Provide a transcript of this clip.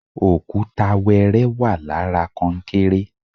Òkúra wẹrẹ wà lára konkéré